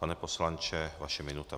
Pane poslanče, vaše minuta.